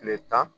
Tile tan